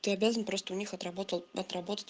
ты обязан просто у них отработал отработать